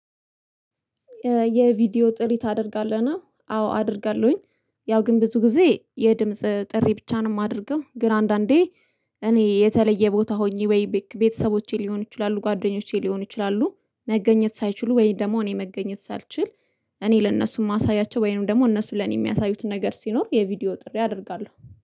የቪዲዮ ጥሪ ታደርጋለህ ነው አዎ አደርጋለሁኝ። ያው ግን ብዙ ጊዜ የድምጽ ጥሪ ብቻ ነው የማደርገው ግን አንዳንዴ እኔ የተለየ ቦታ ሆኜ ወይ ቤተሰቦቼ ሊሆኑ ይችላሉ ጓደኞቼ ሊሆኑ ይችላሉ መገኘት ሳይችሉ ወይ ደግሞ እኔ መገኘት ሳልችል እኔ ለእነሱም ማሳያቸው ወይንም ደግሞ እነሱ ለኔ የሚያሳዩት ነገር ሲኖር የቪዲዮ ጥሪ አደርጋለሁ።